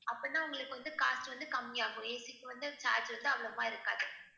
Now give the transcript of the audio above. அப்படின்னா உங்களுக்கு வந்து cost வந்து கம்மியாகும் AC க்கு வந்து charges அவ்வளவா இருக்காது